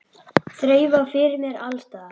Þreifað fyrir mér alls staðar.